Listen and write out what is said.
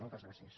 moltes gràcies